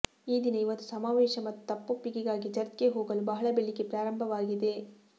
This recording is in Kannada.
ಈ ದಿನ ಇದು ಸಮಾವೇಶ ಮತ್ತು ತಪ್ಪೊಪ್ಪಿಗೆಗಾಗಿ ಚರ್ಚ್ಗೆ ಹೋಗಲು ಬಹಳ ಬೆಳಿಗ್ಗೆ ಪ್ರಾರಂಭವಾಗಿದೆ